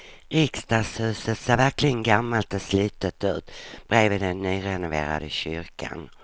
Riksdagshuset ser verkligen gammalt och slitet ut bredvid den nyrenoverade kyrkan.